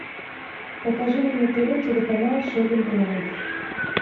покажи мне на тв телеканал шоппинг лайф